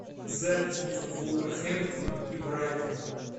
запись между вулверхэмптоном и брайтоном